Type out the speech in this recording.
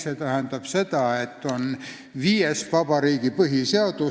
See tähendab seda, et kehtib viies vabariiklik põhiseadus.